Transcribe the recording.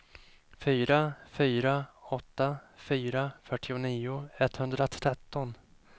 fyra fyra åtta fyra fyrtionio etthundratretton